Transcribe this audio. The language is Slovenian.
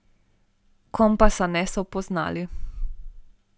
Kompasa niso poznali.